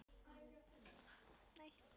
Þorbjörn: Hver átti hugmyndina um að ráða hann?